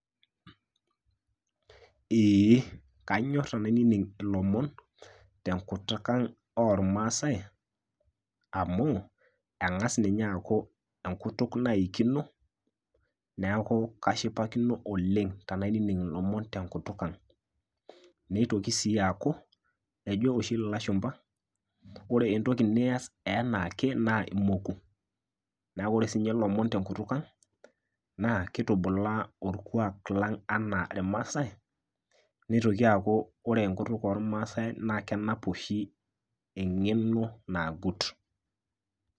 Eeh, kanyorr tenainining' ilomon tenkutuk ang' olmaasai, amu eng'as ninye aaku enkutuk naikino neeku kashipakino oleng' tenainining' ilomon tenkutuk ang', neitoki sii aku ejo oshi ilashumpa, ore entoki nias anaake naa imoku, neeku ore sii ninche ilomon tenkutuk ang' naa keitubulaa olkuak lang' anaa ilmaasai neitoki aaku ore enkutuk olmaasai naa kenap oshi eng'eno nagut.